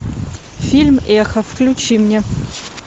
фильм эхо включи мне